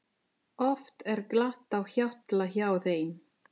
Oft er glatt á hjalla hjá þeim.